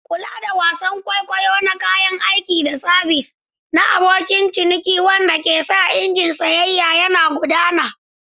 Kula da wasan kwaikwayo na kayan aiki da sabis na abokin ciniki wanda ke sa injin sayayya yana gudana.